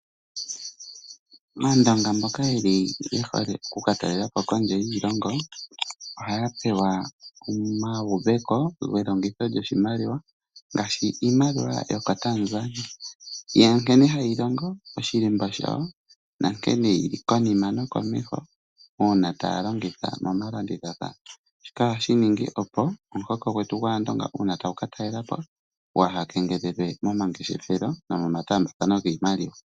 Maandonga mboka yeli yehole oku ka talela po kondje yiilongo, ohaya pewa omauveko gelongitho lyoshimaliwa ngaashi iimaliwa yokoTanzania, ya nkene hayi longo, oshilemba shawo nankene yili konima nokomeho uuna taya longitha momalandithathano, kaashi ninge opo omuhoko gwetu gwaandonga uuna tagu ka talela po gwaha kengelelwe momangeshefelo nomoma taambathano giimaliwa.